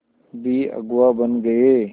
भी अगुवा बन गए